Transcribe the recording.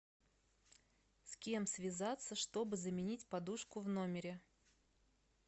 с кем связаться чтобы заменить подушку в номере